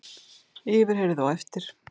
Yfirheyrð á eftir